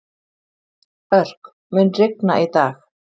Örk, mun rigna í dag?